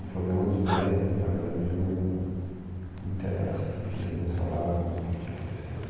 O problema dos dois, do meu pai e da minha mãe, eu não, não me interesso porque que eles não falavam o que que tinha acontecido.